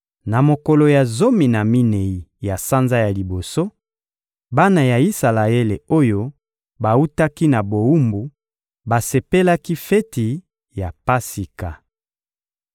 Na mokolo ya zomi na minei ya sanza ya liboso, bana ya Isalaele oyo bawutaki na bowumbu basepelaki feti ya Pasika.